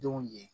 Denw ye